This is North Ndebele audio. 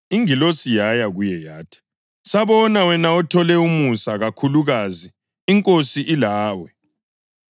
Ingilosi yaya kuye yathi, “Sabona wena othole umusa kakhulukazi INkosi ilawe.”